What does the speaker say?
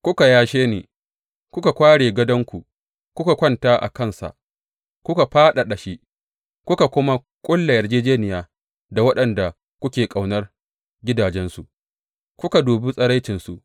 Kuka yashe ni, kuka kware gadonku, kuka kwanta a kansa kuka fadada shi; kuka kuma ƙulla yarjejjeniya da waɗanda kuke ƙaunar gadajensu, kuka dubi tsiraicinsu.